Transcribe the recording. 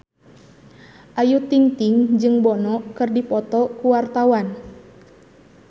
Ayu Ting-ting jeung Bono keur dipoto ku wartawan